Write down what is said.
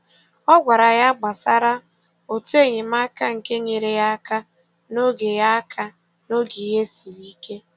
Ọ gwara ya gbasara otu enyemaka nke nyere ya aka n’oge ya aka n’oge ihe siri ike.